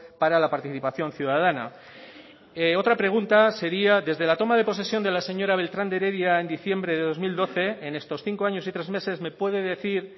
para la participación ciudadana otra pregunta sería desde la toma de posesión de la señora beltrán de heredia en diciembre de dos mil doce en estos cinco años y tres meses me puede decir